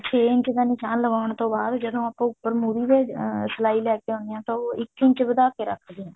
ਛੇ ਇੰਚ ਦਾ ਨਿਸ਼ਾਨ ਲਵਾਉਣ ਤੋਂ ਬਾਅਦ ਜਦੋਂ ਆਪਾ ਉੱਪਰ ਮੁਰ੍ਹੀ ਦੇ ਸਲਾਈ ਲੇ ਕੇ ਆਉਣੇ ਹਾਂ ਤਾਂ ਉਹ ਇੱਕ ਇੰਚ ਵਧਾ ਕੇ ਰੱਖਦੇ ਹਾਂ